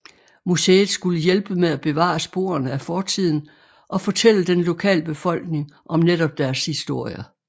Museet skulle hjælpe med at bevare sporene af fortiden og fortælle den lokale befolkning om netop deres historie